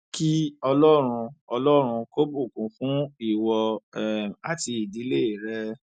kí ọlọrun ọlọrun kò bùkún fún ìwọ um àti ìdílé rẹ